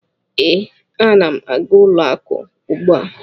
Ee, ana m aga ụlọakụ ugbu a.